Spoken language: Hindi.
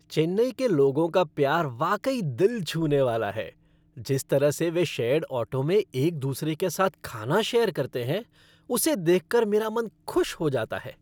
चेन्नई के लोगों का प्यार वाकई दिल छूनेवाला है, जिस तरह से वे शेयर्ड ऑटो में एक दूसरे के साथ खाना शेयर करते हैं उसे देखकर मेरा मन खुश हो जाता है।